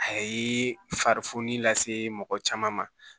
A ye fari fununi lase mɔgɔ caman ma